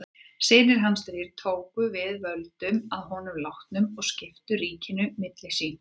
Synir hans þrír tóku við völdum að honum látnum og skiptu ríkinu milli sín.